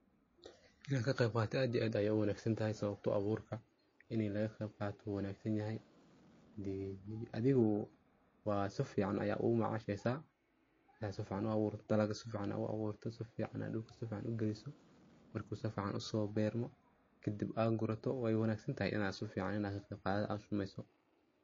Inaan kaqeyb qatoo aad iyo aad aya wanagsantahay sabato ah abuurka ina laga qeybqato wa wanagsiin yahaay hadee adhigu wa safican aya ugu macasheysa hadii safican uu aburtiit daalaga safican aa aburtit dulka safican aa ugiliisit marka saficaan uso bermo kaadib aa gurato waay wanagsantatahay ina safican ina kaqeyqadhato as sameyso.